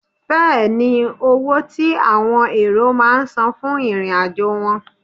Fẹ́ẹ̀ ni owó tí àwọn èrò máà ń san fún ìrìn-àjò wọn.